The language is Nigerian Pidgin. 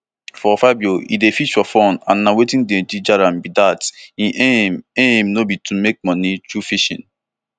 for fabio e dey fish for fun and na wetin dey ginger am be dat im aim aim no be to make money through fishing